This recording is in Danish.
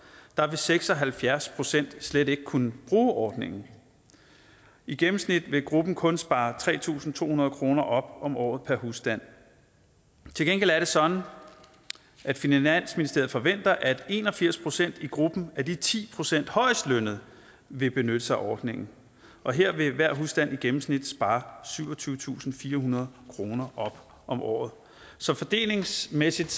vil seks og halvfjerds procent slet ikke kunne bruge ordningen i gennemsnit vil gruppen kun spare tre tusind to hundrede kroner op om året per husstand til gengæld er det sådan at finansministeriet forventer at en og firs procent i gruppen af de ti procent højest lønnede vil benytte sig af ordningen og her vil hver husstand i gennemsnit spare syvogtyvetusinde og firehundrede kroner op om året så fordelingsmæssigt